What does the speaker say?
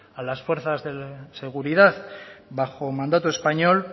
a las fuerzas de seguridad bajo mandato español